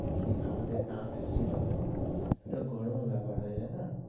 কি আমাদের নাম এসেছিলো গর্ভের ব্যাপার হয়ে যাই না,